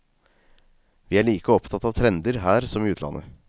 Vi er like opptatt av trender her som i utlandet.